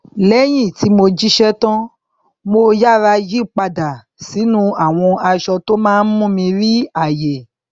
lẹyìn tí mo jíṣẹ tán mo yára yí padà sínú àwọn aṣọ tó má n mú mi rí ààyè